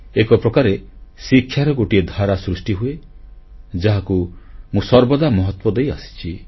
ଏକପ୍ରକାରେ ଶିକ୍ଷାର ଗୋଟିଏ ଧାରା ସୃଷ୍ଟିହୁଏ ଯାହାକୁ ମୁଁ ସର୍ବଦା ମହତ୍ୱ ଦେଇଆସିଛି